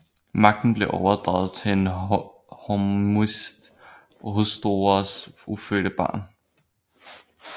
Magten blev overdraget til en af Hormizds hustruers ufødte barn